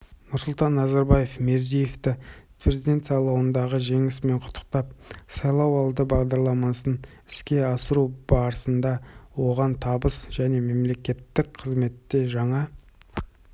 нұрсұлтан назарбаев мирзиевті президент сайлауындағы жеңісімен құттықтап сайлауалды бағдарламасын іске асыру барысында оғантабыс жәнемемлекеттік қызметте жаңа